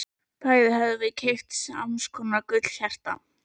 Bæði höfðu þau keypt sams konar gullhjarta.